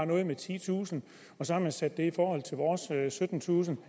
noget med titusind og så har man sat det i forhold til vores syttentusind